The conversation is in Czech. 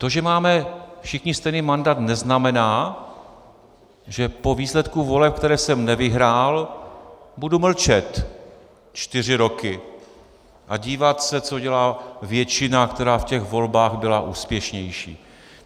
To, že máme všichni stejný mandát, neznamená, že po výsledku voleb, které jsem nevyhrál, budu mlčet čtyři roky a dívat se, co dělá většina, která v těch volbách byla úspěšnější.